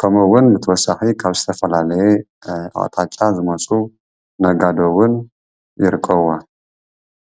ከምኡውን ብተወሳኺ ካብ ዝተፈላለየ ኣቕጣጫ ዝመፁ ነጋዶ እውን ይርከብዋ፡፡